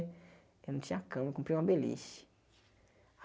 Eu não tinha cama, comprei uma beliche.